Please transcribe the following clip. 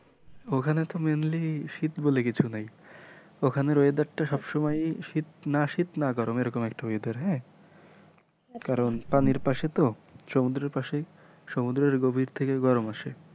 ওখানে তো mainly শীত বলে কিছু নেই ওখানের weather টা সবসময়ই না শীত না গরম এরকম একটু weather হ্যাঁ? কারন পানির পাশে তো সমুদ্রের পাশে সমুদ্রের গভীর থেকে গরম আসে।